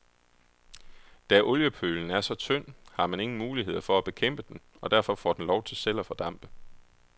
Da oliepølen er så tynd, har man ingen muligheder for at bekæmpe den, og derfor får den lov til selv at fordampe.